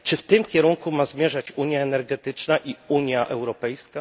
Czy w tym kierunku ma zmierzać unia energetyczna i Unia Europejska?